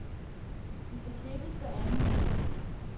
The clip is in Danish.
De skal klippes hver anden uge.